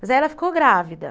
Mas aí ela ficou grávida.